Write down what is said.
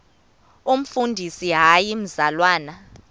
umfundisi hayi mzalwana